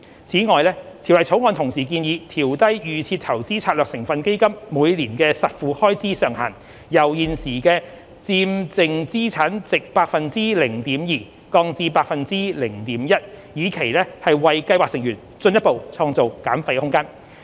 此外，《條例草案》同時建議調低預設投資策略成分基金每年的實付開支上限，由現時的佔淨資產值 0.2%， 降至 0.1%， 以期為計劃成員進一步創造減費空間。